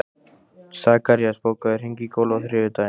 Sakarías, bókaðu hring í golf á þriðjudaginn.